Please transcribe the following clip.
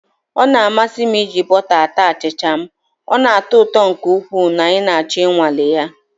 Ọ na-amasị m iji bọta ata achịcha m, ọ na-atọ ụtọ nke ukwuu na ị ga achọ ịnwale ya